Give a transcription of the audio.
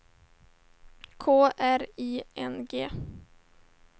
K R I N G